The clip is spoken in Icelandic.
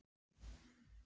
Og hvað á ég að gera?